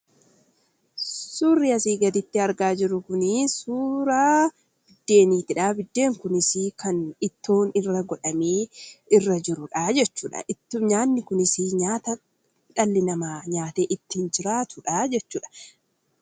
Suurri as gaditti argaa jirru kun suuraa biddeeniitidha. Biddeen kunis kan ittoon irra godhamee irra jirudha jechuudha. Nyaanni kunis nyaata dhalli namaa nyaatee ittiin jiraatudha jechuudha.